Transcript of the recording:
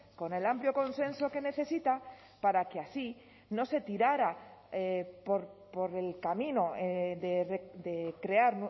con el amplio consenso que necesita para que así no se tirara por el camino de crear